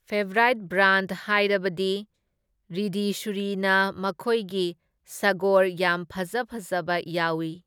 Favourite brand ꯍꯥꯏꯔꯕꯗꯤ ꯔꯤꯙꯤꯁꯨꯔꯤꯅ ꯃꯈꯣꯏꯒꯤ ꯁꯥꯒꯣꯔ ꯌꯥꯝ ꯐꯖ ꯐꯖꯕ ꯌꯥꯎꯢ꯫